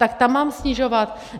Tak tam mám snižovat?